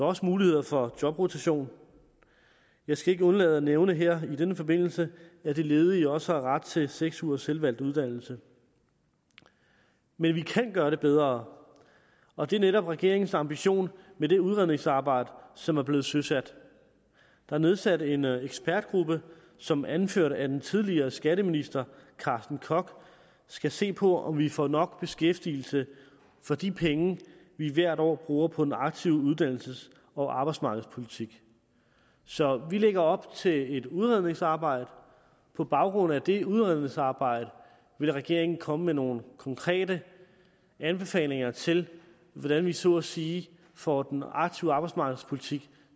også muligheder for jobrotation jeg skal ikke undlade at nævne her i denne forbindelse at de ledige også har ret til seks ugers selvvalgt uddannelse men vi kan gøre det bedre og det er netop regeringens ambition med det udredningsarbejde som er blevet søsat der er nedsat en ekspertgruppe som anført af den tidligere skatteminister carsten koch skal se på om vi får nok beskæftigelse for de penge vi hvert år bruger på den aktive uddannelses og arbejdsmarkedspolitik så vi lægger op til et udredningsarbejde på baggrund af det udredningsarbejde vil regeringen komme med nogle konkrete anbefalinger til hvordan vi så at sige får den aktive arbejdsmarkedspolitik